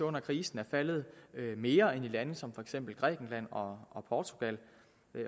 under krisen er faldet mere end i lande som for eksempel grækenland og og portugal